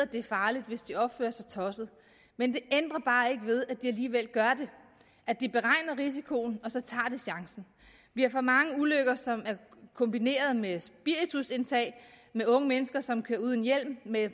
det er farligt hvis de opfører sig tosset men det ændrer bare ikke ved at de alligevel gør det at de beregner risikoen og så tager chancen vi har for mange ulykker som er kombineret med spiritusindtag med unge mennesker som kører uden hjelm med